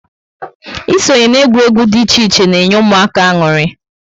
Ịsonye na egwuregwu dị iche iche na enye ụmụaka añụrị